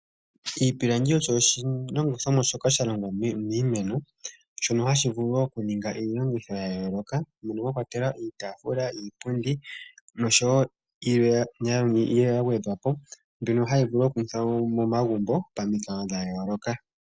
Iipilangi osho oshilongithomwa shoka sha longwa miimeno shono hashi vulu okuninga iilongitho ya yooloka mono mwakwatelwa iitafuula ,iipundi noshowo ilwe ya gwedhwapo mbyono hayi longithwa momagumbo pamikalo dha yooloka.